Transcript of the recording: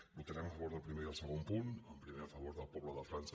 votarem a favor del primer i del segon punt el primer a favor del poble de frança